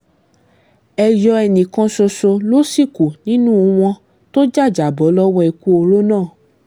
èyọ ẹnì kan ṣoṣo ló sì kù nínú wọn tó jàjàbọ́ lọ́wọ́ ikú oró náà